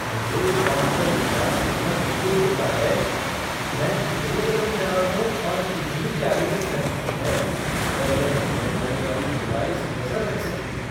मुझे इस बात पर विश्वास करना मुश्किल होता है मैं कितने कदम चला हूँ और कितनी कैलोरी खर्च की है उस पर यह पहने जाने वाली डिवाइस नजर रख सकती है।